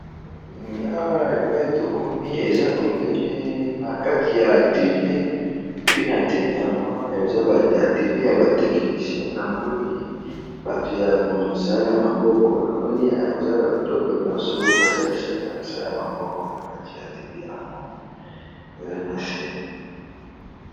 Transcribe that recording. Awa epa etokomi eza ebele na kati ya atelie epi na atelie yango eza atelie ya batechnicien namoni bato ya mosala maboko, namoni eza ba biloko nyonso basalisaka ya mosala maboko na kati ya atelie yango eza na se.